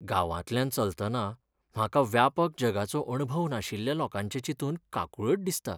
गांवतल्यान चलतना म्हाका व्यापक जगाचो अणभव नाशिल्ल्या लोकांचें चिंतून काकुळट दिसता.